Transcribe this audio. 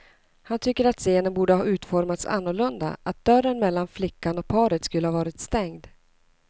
Han tycker att scenen borde ha utformats annorlunda, att dörren mellan flickan och paret skulle ha varit stängd.